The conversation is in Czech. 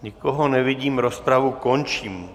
Nikoho nevidím, rozpravu končím.